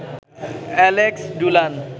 Alex ডুলান